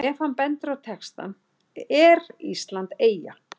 Ef hann bendir á textann ER ÍSLAND EYJA?